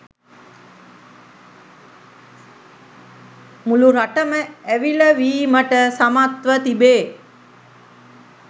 මුළු රටම ඇවිළවීමට සමත්ව තිබේ